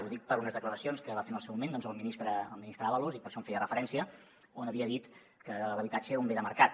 ho dic per unes declaracions que va fer en el seu moment el ministre ábalos i per això hi feia referència on havia dit que l’habitatge era un bé de mercat